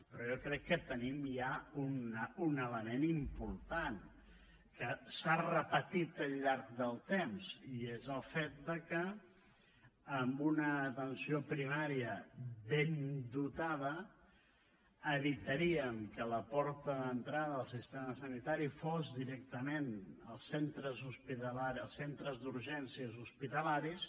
però jo crec que tenim ja un element important que s’ha repetit al llarg del temps i és el fet de que amb una atenció primària ben dotada evitaríem que la porta d’entrada al sistema sanitari fos directament els centres d’urgències hospitalaris